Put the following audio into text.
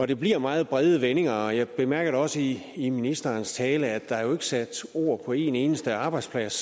det bliver i meget brede vendinger og jeg bemærkede da også i i ministerens tale at der jo sat ord på en eneste arbejdsplads